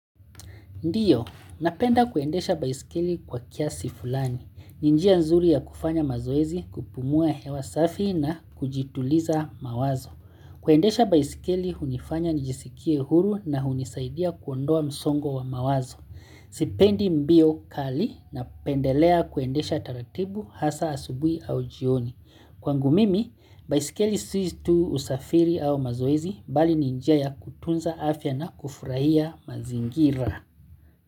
Ndiyo, napenda kuendesha baisikeli kwa kiasi fulani. Ninjia nzuri ya kufanya mazoezi kupumua hewa safi na kujituliza mawazo. Kuendesha baisikeli hunifanya njisikie huru na hunisaidia kuondoa msongo wa mawazo. Sipendi mbio kali na pendelea kuendesha taratibu hasa asubui au jioni. Kwa ngumimi, baisikeli si tu usafiri au mazoezi bali ninjia ya kutunza afya na kufurahia mazingira.